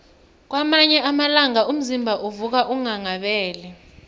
kwamanye amalanga umzimba uvuka unghanghabele